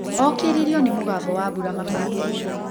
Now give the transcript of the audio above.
Okĩririo nĩ mũgambo wa mbũra mabatĩĩnĩ.